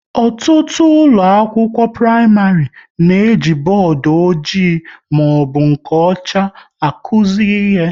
Ọtụtụ ụlọ akwụkwọ praịmarị na-eji bọọdụ ọjị maọbụ nke ọcha akuzi ihe